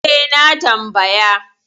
E, na tambaya.